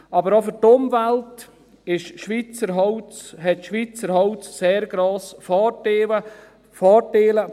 Aber auch für die Umwelt hat Schweizer Holz sehr grosse Vorteile.